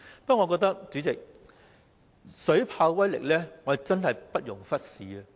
不過，水炮車的威力真的不容忽視。